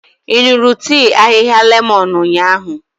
Ị ṅụrụ tii ahịhịa lemon ụnyahụ?